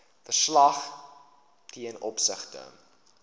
verslag ten opsigte